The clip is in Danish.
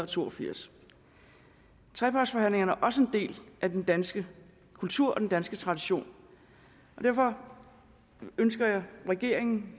to og firs trepartsforhandlingerne er også en del af den danske kultur og den danske tradition og derfor ønsker jeg regeringen